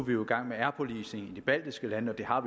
vi jo i gang med air policing i de baltiske lande det har